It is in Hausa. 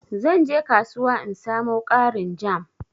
zan je kasuwa in samo ƙarin jam.